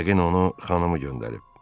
Yəqin onu xanımı göndərib.